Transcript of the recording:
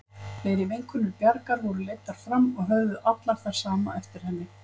Fleiri vinkonur Bjargar voru leiddar fram og höfðu allar það sama eftir henni.